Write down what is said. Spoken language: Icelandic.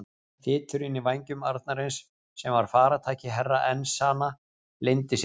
Þyturinn í vænjum arnarins sem var farartæki Herra Enzana leyndi sér ekki.